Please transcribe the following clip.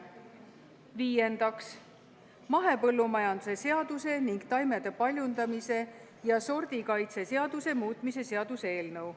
Viiendaks, mahepõllumajanduse seaduse ning taimede paljundamise ja sordikaitse seaduse muutmise seaduse eelnõu.